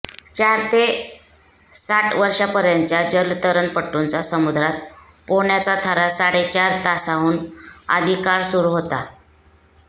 चार ते साठ वर्षांपर्यंतच्या जलतरणपटूंचा समुद्रात पोहण्याचा थरार साडेचार तासांहून अधिक काळ सुरू होता